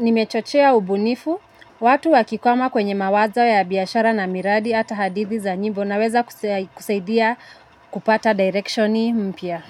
nimechochea ubunifu, watu wakikwama kwenye mawazo ya biyashara na miradi ata hadithi za nyimbo naweza kusaidia kupata direction mpia.